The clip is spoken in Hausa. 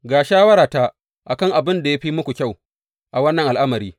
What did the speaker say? Ga shawarata a kan abin da ya fi muku kyau a wannan al’amari.